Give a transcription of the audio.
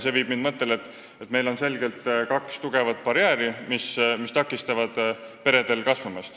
See viib mind mõtteni, et meil on kaks tugevat barjääri, mis takistavad peredel kasvada.